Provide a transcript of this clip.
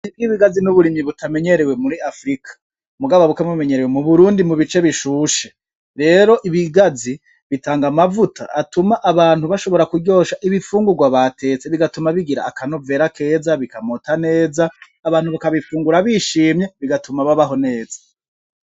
Uburimyi bw'ibigazi n'uburimyi butamenyerewe muri afrika, mugabo bukaba bumenyerewe mu Burundi mu bice bishushe, rero ibigazi bitanga amavuta atuma abantu bashobora kuryosha ibifungurwa batetse bigatuma bigira akanovera keza bikamota neza abantu bakabifungura bishimye bigatuma babaho neza.